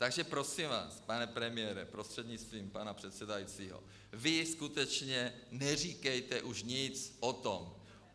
Takže prosím vás, pane premiére prostřednictvím pana předsedajícího, vy skutečně neříkejte už nic o tom.